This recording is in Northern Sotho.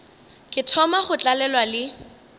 ke thoma go tlalelwa le